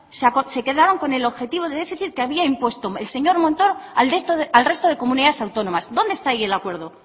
se quedaron con el objetivo de déficit que había impuesto el señor montoro al resto de comunidades autónomas dónde está ahí el acuerdo